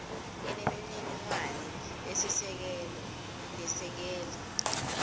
inemininingwane lesisekelo lesekela